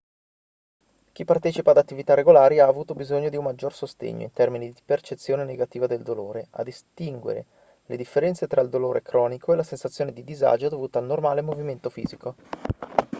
chi partecipa ad attività regolari ha avuto bisogno di un maggior sostegno in termini di percezione negativa del dolore a distinguere le differenze tra il dolore cronico e la sensazione di disagio dovuta al normale movimento fisico